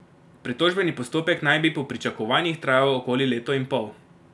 Pritožbeni postopek naj bi po pričakovanjih trajal okoli leto in pol.